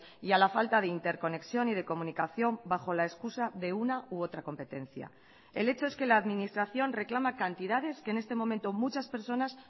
y a la falta de interconexión y de comunicación bajo la excusa de una u otra competencia el hecho es que la administración reclama cantidades que en este momento muchas personas